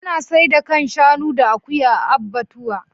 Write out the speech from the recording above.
Ana saida kan shanu da akuya a abbatuwa.